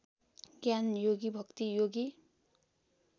ज्ञानयोगी भक्ति योगी